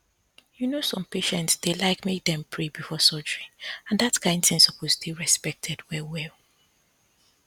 you know some patients dey like make dem pray before surgery and that kain thing suppose dey respected well well